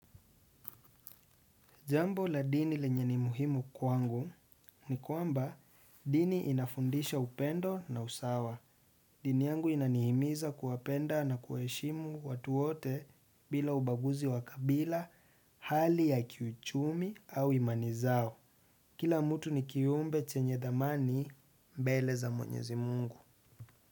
Jambo la dini lenye ni muhimu kwangu ni kwamba dini inafundisha upendo na usawa. Dini yangu inanihimiza kuwapenda na kuwaheshimu watu wote bila ubaguzi wa kabila, hali ya kiuchumi au imani zao. Kila mtu ni kiumbe chenye dhamani mbele za mwenyezi mungu.